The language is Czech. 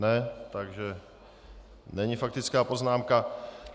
Ne, takže není faktická poznámka.